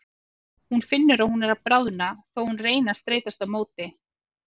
Hún finnur að hún er að bráðna þó að hún reyni að streitast á móti.